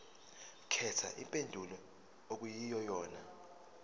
khetha impendulo okuyiyona